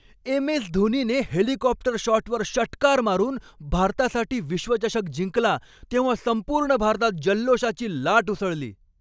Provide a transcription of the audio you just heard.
एम.एस.धोनीने helicopter शॉटवर षटकार मारून भारतासाठी विश्वचषक जिंकला तेव्हा संपूर्ण भारतात जल्लोषाची लाट उसळली.